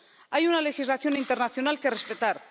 Hay una legislación internacional que respetar.